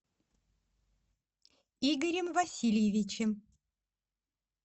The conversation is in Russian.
игорем васильевичем